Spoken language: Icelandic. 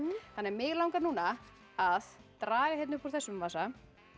þannig að mig langar núna að draga upp úr þessum vasa